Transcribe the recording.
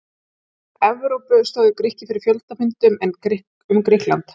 Evrópu stóðu fyrir fjöldafundum um Grikkland.